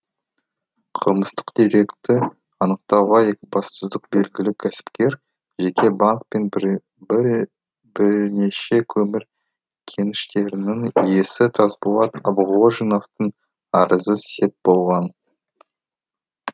қылмыстық деректі анықтауға екібастұздық белгілі кәсіпкер жеке банк пен біренеше көмір кеніштерінің иесі тасболат абғожиновтың арызы сеп болған